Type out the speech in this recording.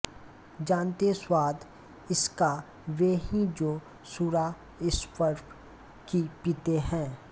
जानते स्वाद इसका वे ही जो सुरा स्वप्न की पीते हैं